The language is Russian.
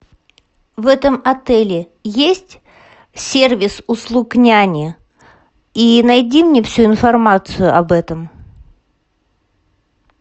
в этом отеле есть сервис услуг няни и найди мне всю информацию об этом